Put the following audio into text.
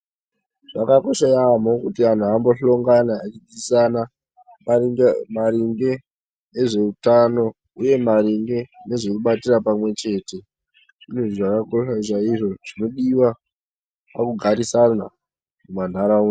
Zvakakosha yamho kuti anhu ambo hlongana echi dzidzisana maringe ne zveutano uye maringe nezve kubatira pamwe chete zvinhu zvakakosha chaizvo zvinodiwa paku garisana mu ma ndaraunda.